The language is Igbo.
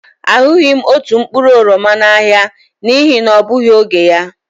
A hụghị m otu mkpụrụ oroma n'ahịa n'ihi na ọ bụghị oge ya.